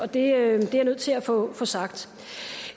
det er jeg nødt til at få få sagt